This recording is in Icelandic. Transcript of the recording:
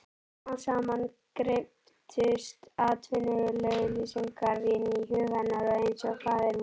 Smám saman greyptust atvinnuauglýsingarnar inn í hug hennar einsog Faðirvorið.